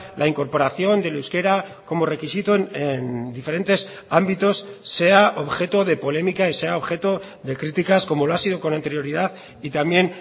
la incorporación del euskera como requisito en diferentes ámbitos sea objeto de polémica y sea objeto de críticas como lo ha sido con anterioridad y también